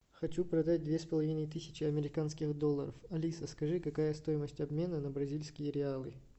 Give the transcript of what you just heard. хочу продать две с половиной тысячи американских долларов алиса скажи какая стоимость обмена на бразильские реалы